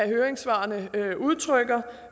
høringssvarene udtrykker